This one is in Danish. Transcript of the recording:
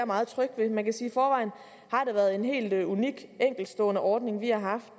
meget tryg ved man kan sige at været en helt unik enkeltstående ordning vi har haft